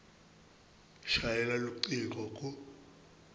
shayela lucingo ku